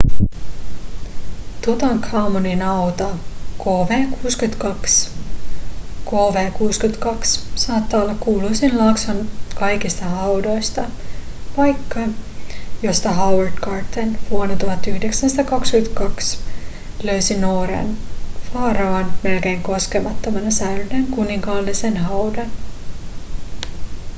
tutankhamonin hauta kv62. kv62 saattaa olla kuuluisin laakson kaikista haudoista paikka josta howard carter vuonna 1922 löysi nuoren faraon melkein koskemattomana säilyneen kuninkaallisen haudan